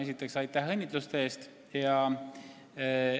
Esiteks, aitäh õnnitluste eest!